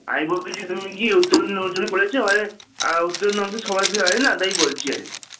আমি বলতেছি তুমি নাকি উত্তরনে পড়েছ কারণ উত্তরণ নামটা তো সবাই জানেনা তাই বলছি আর কি